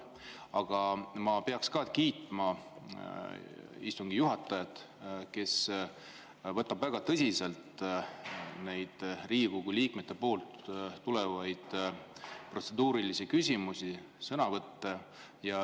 Aga ma pean kiitma ka istungi juhatajat, kes võtab väga tõsiselt neid Riigikogu liikmetelt tulevaid protseduurilisi küsimusi ja sõnavõtte.